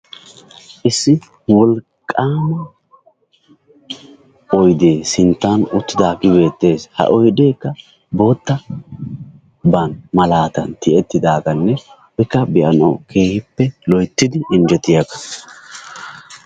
Issi wolqqaama oydee sinttan uttidaagee beettes. Ha oydeekkaa boottaban malaatan tiyettidaagaanne kabboyanawu keehippe loyttidi injjetiyagaa.